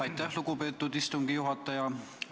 Aitäh, lugupeetud istungi juhataja!